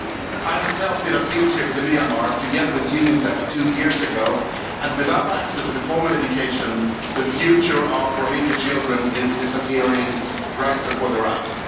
I myself did a field trip to Myanmar together with UNICEF two years ago, and without access to formal education the future of Rohingya children is disappearing right before their eyes.